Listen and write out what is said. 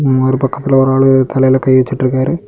ஒரு பக்கத்துல ஒரு ஆளு தலையில கை வச்சிட்டு இருக்காரு.